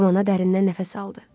Kamana dərindən nəfəs aldı.